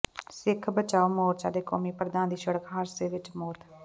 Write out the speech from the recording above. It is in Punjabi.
ਸਿੱਖ ਬਚਾਓ ਮੋਰਚਾ ਦੇ ਕੌਮੀ ਪ੍ਰਧਾਨ ਦੀ ਸੜਕ ਹਾਦਸੇ ਵਿੱਚ ਮੌਤ